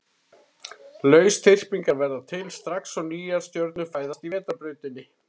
Lausþyrpingar verða til strax og nýjar stjörnur fæðast í Vetrarbrautinni.